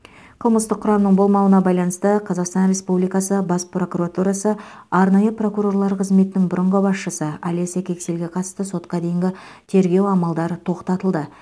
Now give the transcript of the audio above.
қылмыстық құрамның болмауына байланысты қазақстан республикасы бас прокуратурасы арнайы прокурорлар қызметінің бұрынғы басшысы олеся кексельге қатысты сотқа дейінгі тергеу амалдары тоқтатылды